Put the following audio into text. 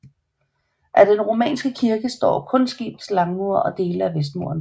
Af den romanske kirke står kun skibets langmure og dele af vestmuren